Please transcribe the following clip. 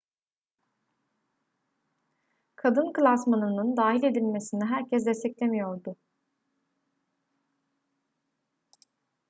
kadın klasmanının dahil edilmesini herkes desteklemiyordu